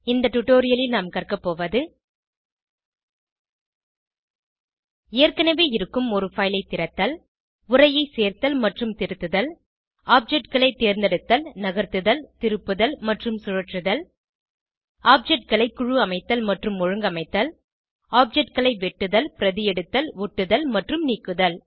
இந்த டுடோரியலில் நாம் கற்கபோவது ஏற்கனவே இருக்கும் ஒரு பைல் ஐ திறத்தல் உரையை சேர்த்தல் மற்றும் திருத்துதல் objectகளை தேர்ந்தெடுத்தல் நகர்த்துதல் திருப்புதல் மற்றும் சுழற்றுதல் ஆப்ஜெக்ட் களை குழு அமைத்தல் மற்றும் ஒழுங்கமைத்தல் objectகளை வெட்டுதல் பிரதியெடுத்தல் ஒட்டுதல் மற்றும் நீக்குதல்